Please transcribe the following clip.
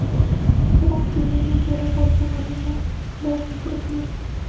biroq binoni egallab olgan odamlar ularni kiritmagan.